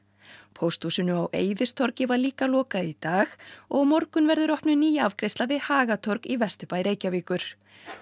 pósthúsinu á Eiðistorgi var líka lokað í dag og á morgun verður opnuð ný afgreiðsla við Hagatorg í Vesturbæ Reykjavíkur